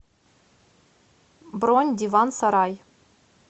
бронь диван сарай